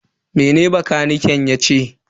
Mene bakaniken yace?